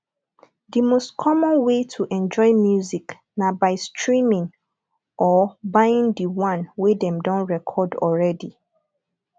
di most common way to enjoy music na by streaming or buying di one wey dem don record already